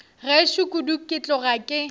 gešo kudu ke tloga ke